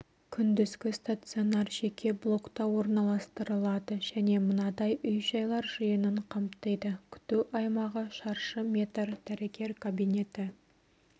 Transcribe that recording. күндізгі стационар жеке блокта орналастырылады және мынадай үй-жайлар жиынын қамтиды күту аймағы шаршы метр дәрігер кабинеті